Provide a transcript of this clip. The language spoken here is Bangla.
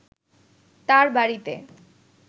তার বাড়িতে